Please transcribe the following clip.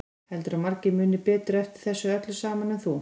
Heldurðu að margir muni betur eftir þessu öllu saman en þú?